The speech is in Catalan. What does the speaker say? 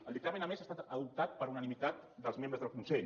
el dictamen a més ha estat adoptat per unanimitat dels membres del consell